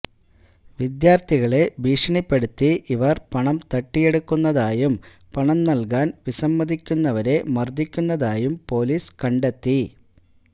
വിദ്യാര്ത്ഥികളെ ഭീഷണിപ്പെടുത്തി ഇവര് പണം തട്ടിയെടുക്കുന്നതായും പണം നല്കാന് വിസമ്മതിക്കുന്നവരെ മര്ദ്ദിക്കുന്നതായും പോലീസ് കണ്ടെത്തി